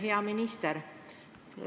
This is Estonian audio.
Hea minister.